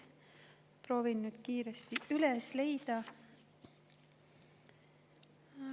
Proovin nüüd kiiresti üles leida.